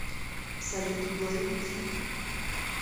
салют блэйм клип